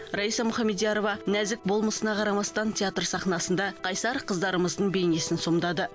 раиса мухамедиярова нәзік болмысына қарамастан театр сахнасында қайсар қыздарымыздың бейнесін сомдады